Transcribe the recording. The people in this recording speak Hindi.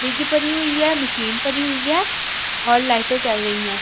फ्रिज पड़ी हुई है मशीन पड़ी हुई है और लाइटें जल रही है।